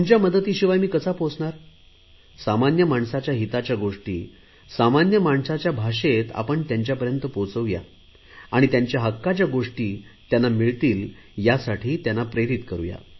तुमच्या मदतीशिवाय मी कसा पोहोचणार सामान्य माणसाच्या भाषेत आपण त्यांच्यापर्यंत पोहचवूया आणि त्यांच्या हक्काच्या गोष्टी त्यांना मिळतील यासाठी त्यांना प्रेरित करु